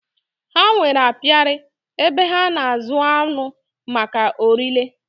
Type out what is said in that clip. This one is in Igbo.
Ha nwèrè apiari, ebe ha na azụ aṅụ maka órí le